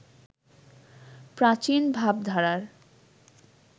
প্রাচীন ভাবধারার